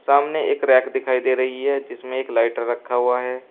सामने एक रैक दिखाई दे रही है जिसमें एक लाइटर रखा हुआ है।